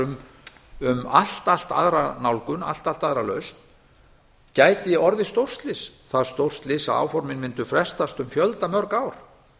umræðum um allt aðra nálgun allt aðra lausn gæti orðið stórslys það stórt slys að áformin mundu frestast um fjölda mörg ár